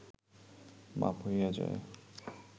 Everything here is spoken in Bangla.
মাপ হইয়া যায়